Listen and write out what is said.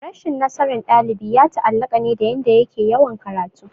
Rashin nasaran dalibi ya taallaka ne dayanda yake yawan karatu